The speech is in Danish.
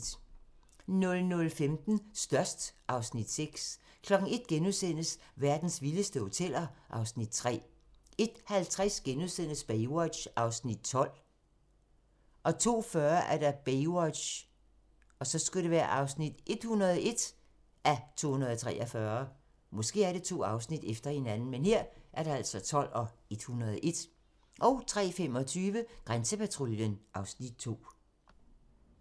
00:15: Størst (Afs. 6) 01:00: Verdens vildeste hoteller (Afs. 3)* 01:50: Baywatch (12:243)* 02:40: Baywatch (101:243) 03:25: Grænsepatruljen (Afs. 2)